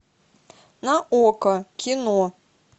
на окко кино